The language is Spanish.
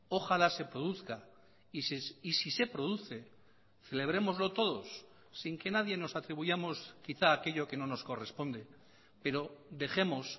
ojalá se produzca y si se produce celebrémoslo todos sin que nadie nos atribuyamos quizá aquello que no nos corresponde pero dejemos